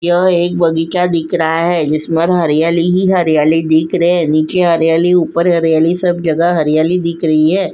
यह एक बगीचा दिख रहा है। जिसमें हरियाली ही हरियाली दिख रहे हैं। नीचे हरियाली ऊपर हरियाली सब जगह हरियाली दिख रही है।